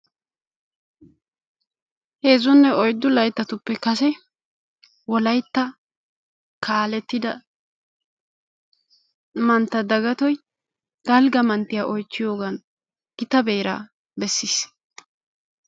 heezzunne oyiddu layittatuppe kase wolayitta kaalettida mantta dagatoy dalgga manttiyaa oyichchiyoogan git beeraa bessiis.